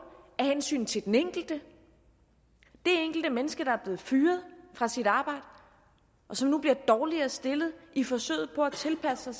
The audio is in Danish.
af hensyn til den enkelte menneske der er blevet fyret fra sit arbejde og som nu bliver dårligere stillet i forsøget på at tilpasse sig